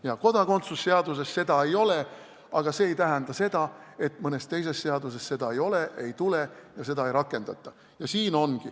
Jah, kodakondsuse seaduses seda kirjas ei ole, aga see ei tähenda seda, et mõnes teises seaduses seda ei ole, seda sinna ei tule ja seda ei rakendata.